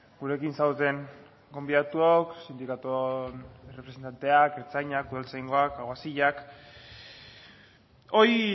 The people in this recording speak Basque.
gurekin zaudeten gonbidatuok sindikatuon errepresentanteak ertzainak udaltzaingoak aguazilak hoy